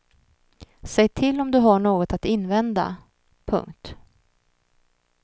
Säg till om du har något att invända. punkt